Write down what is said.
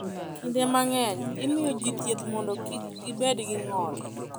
Kinde mang’eny, imiyo ji thieth mondo kik gibed gi ng’ol.